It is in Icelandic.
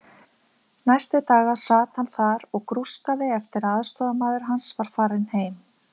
Næstu daga sat hann þar og grúskaði eftir að aðstoðarmaður hans var farinn heim.